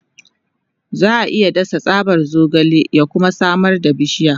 Za a iya dasa tsaban zogale ya kuma samar da bishiya.